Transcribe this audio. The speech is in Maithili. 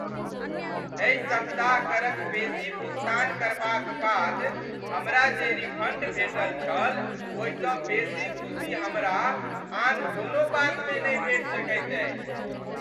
एहि सप्ताह करक बेसी भुगतान करबाक बाद हमरा जे रिफंड भेटल छल ओहिसँ बेसी खुशी हमरा आन कोनो बातमे नहि भेटि सकैत अछि।